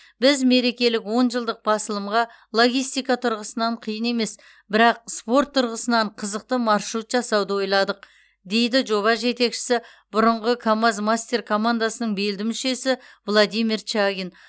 біз мерекелік он жылдық басылымға логистика тұрғысынан қиын емес бірақ спорт тұрғысынан қызықты маршрут жасауды ойладық дейді жоба жетекшісі бұрынғы камаз мастер командасының белді мүшесі владимир чагин